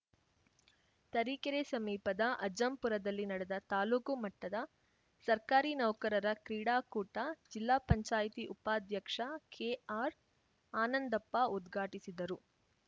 ತರೀಕೆರೆ ಸಮೀಪದ ಅಜ್ಜಂಪುರದಲ್ಲಿ ನಡೆದ ತಾಲೂಕು ಮಟ್ಟದ ಸರ್ಕಾರಿ ನೌಕರರ ಕ್ರೀಡಾಕೂಟ ಜಿಲ್ಲಾ ಪಂಚಾಯತಿ ಉಪಾಧ್ಯಕ್ಷ ಕೆಆರ್‌ ಆನಂದಪ್ಪ ಉದ್ಘಾಟಿಸಿದರು